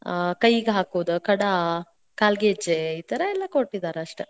ಆ ಕೈಗೆ ಹಾಕೋದ್ ಖಡಾ, ಕಾಲ್ಗೆಜ್ಜೆ. ಈ ಥರಾ ಎಲ್ಲಾ ಕೊಟ್ಟಿದಾರೆ ಅಷ್ಟ.